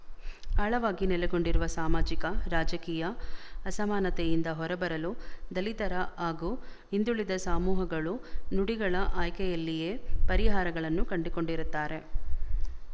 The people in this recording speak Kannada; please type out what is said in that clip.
ಆಳವಾಗಿ ನೆಲೆಗೊಂಡಿರುವ ಸಾಮಾಜಿಕ ರಾಜಕೀಯ ಅಸಮಾನತೆಯಿಂದ ಹೊರಬರಲು ದಲಿತರು ಹಾಗೂ ಹಿಂದುಳಿದ ಸಾಮೂಹಗಳು ನುಡಿಗಳ ಆಯ್ಕೆಯಲ್ಲಿಯೇ ಪರಿಹಾರಗಳನ್ನು ಕಂಡುಕೊಂಡಿರುತ್ತಾರೆ